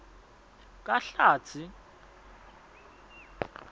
kahlatsi